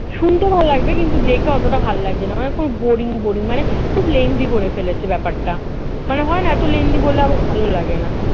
শুনতেও ভালো লাগবে কিন্তু দেখে অতটা ভালো লাগছে না আমার কেমন boring boring মানে খুব boring boring করে ফেলেছে ব্যাপারটা মনে হয় না এত lengthy করলে আবার ভালো লাগেনা